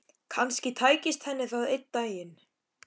Kannski tækist henni það einn daginn.